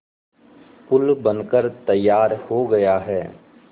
पुल बनकर तैयार हो गया है